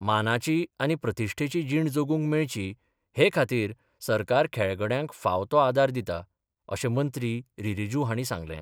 मानाची आनी प्रतीश्ठेची जीण जगूंक मेळची हे खातीर सरकार खेळगड्यांक फाव तो आदार दिता अशें मंत्री रिजीजू हाणी सांगलें.